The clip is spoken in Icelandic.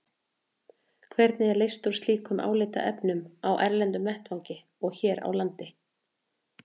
Hvernig er leyst úr slíkum álitaefnum á erlendum vettvangi og hér á landi?